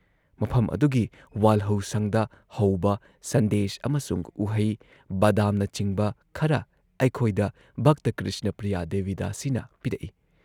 ꯃꯐꯝ ꯑꯗꯨꯒꯤ ꯋꯥꯜꯍꯧꯁꯪꯗ ꯍꯧꯕ ꯁꯟꯗꯦꯁ ꯑꯃꯁꯨꯡ ꯎꯍꯩ, ꯕꯥꯗꯥꯝꯅꯆꯤꯡꯕ ꯈꯔ ꯑꯩꯈꯣꯏꯗ ꯚꯛꯇ ꯀ꯭ꯔꯤꯁꯅ ꯄ꯭ꯔꯤꯌꯥ ꯗꯦꯕꯤ ꯗꯥꯁꯤꯅ ꯄꯤꯔꯛꯏ ꯫